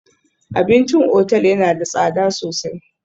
Abincin otal yana da tsada sosai